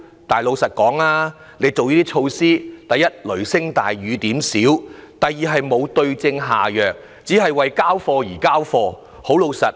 但是，老實說，政府推出的措施，第一，雷聲大雨點小；第二，沒有對症下藥，只是為交差而提出。